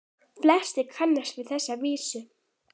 Flestir kannast við þessa vísu